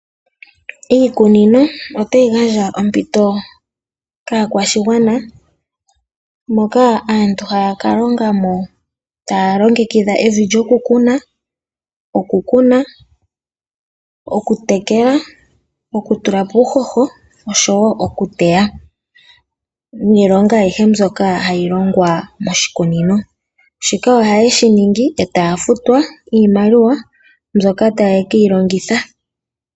Iikunino ota yi gandja ompito kaakwashigwana moka aantu ha ya kalongamo taya longekidha evi lyokukuna, okukuna, okutekela, okutulapo uuhoho oshowo okuteya. Niilonga ayihe mbyoka ha yi longwa moshikunino. Shika ohaye shiningi e taya futwa iimaliwa mbyoka ta ye keyi longitha.